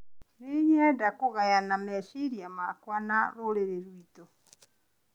No nyende kũgayana meciria makwa na rũrĩrĩ rwitũ.